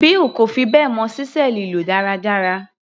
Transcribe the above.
Bill kò fi bẹ́ẹ̀ mọ ṣísẹ́ẹ̀lì lò dáradára.